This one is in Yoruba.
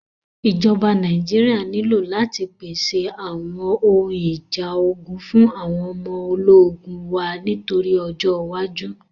Ìjọba Nàíjíríà nílò láti pèsè àwọn ohun ìjà ogun fún àwọn ọmọ ológun wa nítorí ọjọ́ iwájú.